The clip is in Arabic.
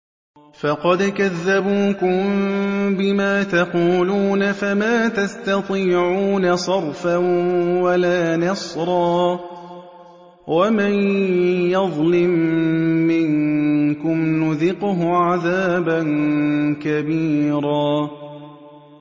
فَقَدْ كَذَّبُوكُم بِمَا تَقُولُونَ فَمَا تَسْتَطِيعُونَ صَرْفًا وَلَا نَصْرًا ۚ وَمَن يَظْلِم مِّنكُمْ نُذِقْهُ عَذَابًا كَبِيرًا